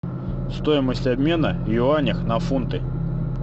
стоимость обмена юаня на фунты